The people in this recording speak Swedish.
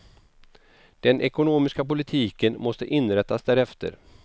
Den ekonomiska politiken måste inrättas därefter.